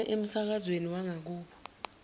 isiphume emsakazweni wangakubo